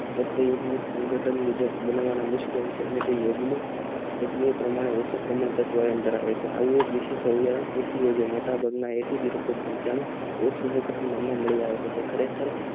મુજબ બનાવમાં નિષ્ફળ છે તે પમાણે હોય છે તે ધરાવે છે આવે જ રેતે એક નામના મળી આવે છે